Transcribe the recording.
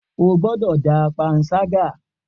O gbọdọ da panṣaga!